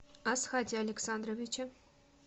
асхате александровиче